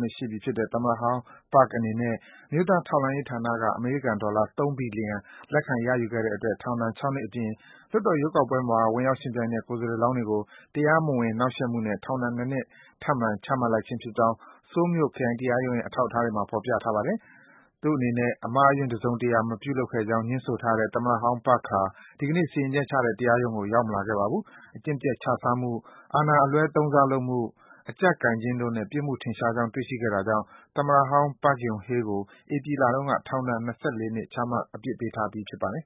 နှစ်ရှိပြီဖြစ်တဲ့ သမ္မတဟောင်း Park အနေနဲ့ အမျိုးသား ထောက်လှမ်းရေး ဌာနက အမေရိကန် ဒေါ်လာ ၃ ဘီလီယံ လက်ခံ ရယူခဲ့တဲ့ အတွက် ထောင်ဒဏ် ၆ နှစ်အပြင် လွှတ်တော်ရွေးကောက်ပွဲမှာ ဝင် ရောက် ယှဉ်ပြိုင်တဲ့ ကိုယ်စားလှယ်လောင်းတွေကို တရားမဝင် နှောင့်ယှက်မှုနဲ့ ထောင်ဒဏ် ၂ နှစ် ထပ်မံ ချမှတ်လိုက်ခြင်းဖြစ်ကြောင်း ဆိုးလ်မြို့ ခရိုင်တရားရုံးရဲ့ အထောက် အထားတွေမှာ ဖော်ပြထားပါတယ်။ သူ့အနေနဲ့ အမှားအယွင်း တစုံတရာ မပြုလုပ်ခဲ့ကြောင်းငြင်းဆိုထားတဲ့ သမ္မတ ဟောင်း Park ဟာ ဒီကနေ့ စီရင်ချက်ချတဲ့ တရားရုံးကို ရောက်မလာခဲ့ပါဘူး။ အကျင့်ပျက်ခြစားမှု၊ အာဏာအလွဲသုံးစားလုပ်မှု၊ အကျပ်ကိုင်ခြင်းတို့နဲ့ ပြစ်မှု ထင်ရှားကြောင်း တွေ့ရှိခဲ့တာ ကြောင့် သမ္မတဟောင်း Park Geun-hye ဧပြီလတုန်းက ထောင်ဒဏ် ၂၄ နှစ် ချမှတ် အပြစ်ပေးထားပြီး ဖြစ်ပါတယ်